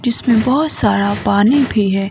जिसमें बहुत सारा पानी भी है।